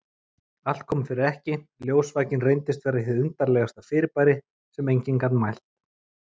Allt kom fyrir ekki, ljósvakinn reyndist vera hið undarlegasta fyrirbæri sem enginn gat mælt.